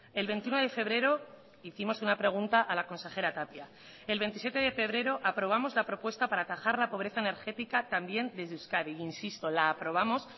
el veintiuno de febrero hicimos una pregunta a la consejera tapia el veintisiete de febrero aprobamos la propuesta para atajar la pobreza energética también desde euskadi insisto la aprobamos